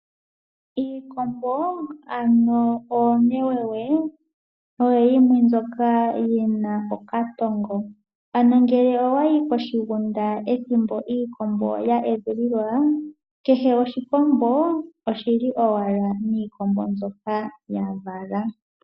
Iikombo ano oonewewe oyo yimwe mbyoka yi na okatongo, ano ngele owayi koshigunda ethimbo iikombo ya edhililwa kehe oshikombo oshili owala niikombo mbyoka ya vala.